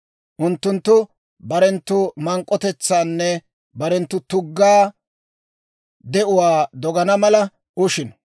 Unttunttu barenttu mank'k'otetsaanne barenttu tugga de'uwaa dogana mala ushino.